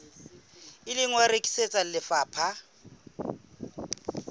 ile wa rekisetswa lefapha la